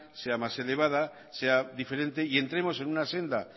sea más elevada sea diferente y entremos en una senda